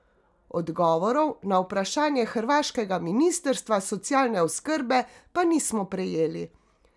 Odgovorov na vprašanja hrvaškega ministrstva socialne oskrbe pa nismo prejeli.